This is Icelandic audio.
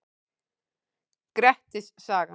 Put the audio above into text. Grettis saga.